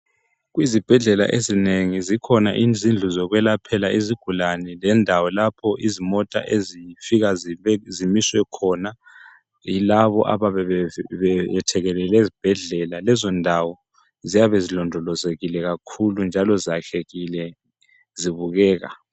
Ezibhedlela ezinengi zikhona izindlu zokwelaphela izigulane lendawo lapho izimota ezifika zimiswe khona yilabo abayabe bethekelele ezibhedlela lezondawo ziyabe zilondolozekile kakhulu njalo zakhekile zibukeka.